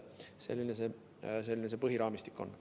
Selline see põhiraamistik on.